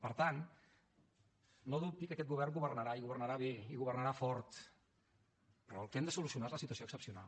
per tant no dubti que aquest govern governarà i governarà bé i governarà fort però el que hem de solucionar és la situació excepcional